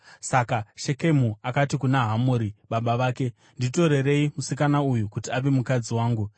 Saka Shekemu akati kuna Hamori baba vake, “Nditorerei musikana uyu kuti ave mukadzi wangu.”